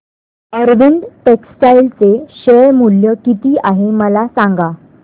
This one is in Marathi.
अरविंद टेक्स्टाइल चे शेअर मूल्य किती आहे मला सांगा